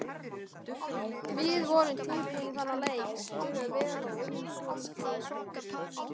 Við vorum tilbúnir í þennan leik, spiluðum vel og unnum svolítið baráttuna.